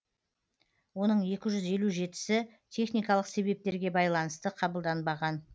оның екі жүз елу жетісі техникалық себептерге байланысты қабылданбаған